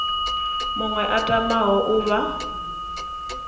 muṅwe a tamaho u vha